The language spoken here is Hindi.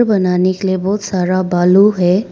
बनाने के लिए बहुत सारा बालू है।